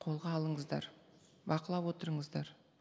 қолға алыңыздар бақылап отырыңыздар